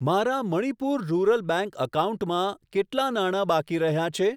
મારા Manipur rural bank એકાઉન્ટમાં કેટલા નાણા બાકી રહ્યાં છે?